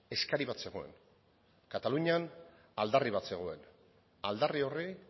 eskari bat zegoen katalunian aldarri bat zegoen aldarri horri